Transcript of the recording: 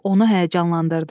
Bu onu həyəcanlandırdı.